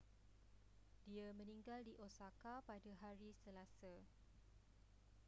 dia meninggal di osaka pada hari selasa